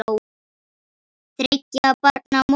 Þriggja barna móðir.